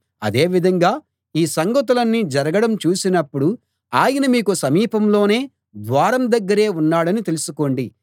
అదే విధంగా ఈ సంగతులన్నీ జరగడం చూసినప్పుడు ఆయన మీకు సమీపంలోనే ద్వారం దగ్గరే ఉన్నాడని తెలుసుకోండి